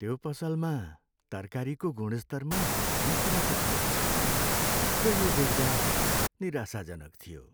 त्यो पसलमा तरकारीको गुणस्तरमा धेरै कुराको कमी छ र यो देख्दा निराशाजनक थियो।